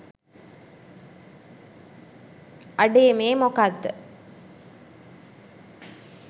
අඩේ මේ මොකක්ද